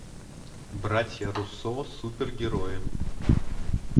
братья руссо супергерои